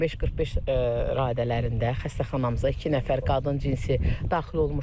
15:45 radələrində xəstəxanamıza iki nəfər qadın cinsi daxil olmuşdu.